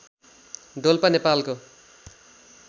डोल्पा नेपालको